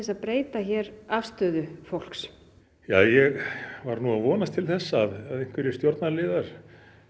að breyta hér afstöðu fólks ég var nú að vonast til þess að einhverjir stjórnarliðar